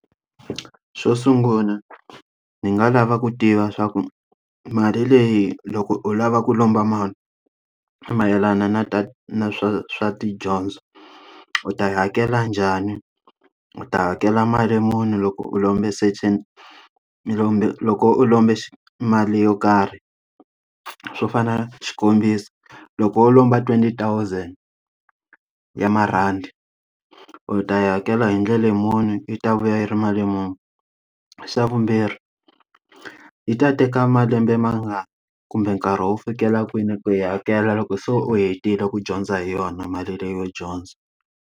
Xo sungula ni nga lava ku tiva swa ku mali leyi loko u lava ku lomba mali, mayelana na na swa swa tidyondzo, u ta yi hakela njhani? U ta hakela mali muni loko u lombe certain u lombe loko u lombe xi mali yo karhi? Swo fana xikombiso, loko u lomba twenty thousand ya marhandi u ta yi hakela hi ndlela muni yi ta vuya yi ri mali muni? Xa vumbirhi, yi ta teka malembe mangani kumbe nkarhi wo fikela kwini ku yi hakela loko se u hetile ku dyondza hi yona mali leyo dyondza?